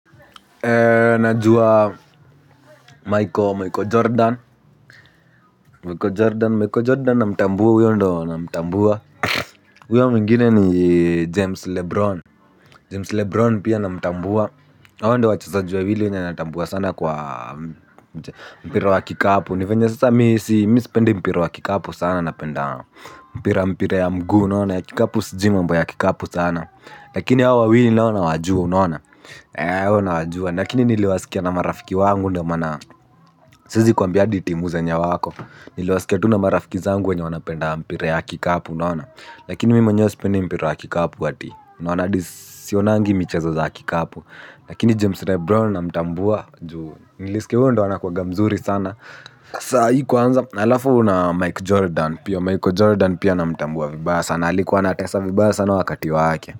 Najua Michael Jordan. Michael Jordan namtambua huyo ndo namtambua. Huyo mwingine ni James Lebron. James Lebron pia namtambua. Na hao ndo wachezaji wawili wenye natambua sana kwa mpira wa kikapu. Ni venye sasa mimi sipendi mpira wa kikapu sana napenda mpira ya mguu. Lakini hawa wawili nao nawajua unaona? Eee hao nawajua lakini niliwasikia na marafiki wangu ndio maana siezi kwambia hadi timu zenye wako. Niliwasikia tu na marafiki zangu wenye wanapenda mpira ya kikapu unaona. Lakini mimi mwenyewe sipendi mpira ya kikapu ati. Unaona hadi sionangi michezo za kikapu. Lakini James Lebron namtambua juu nilisikia huyo ndo anakuwanga mzuri sana. Sahii kwanza. Na alafu na Mike Jordan. Pia Mike Jordan pia namtambua vibaya sana alikuwa anatesa vibaya sana wakati wake.